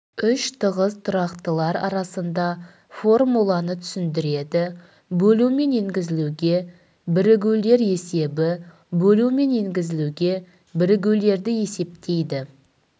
үш тығыз тұрақтылар арасында формуланы түсіндіреді бөлу мен езілуге бірігулер есебі бөлу мен езілуге бірігулерді есептейді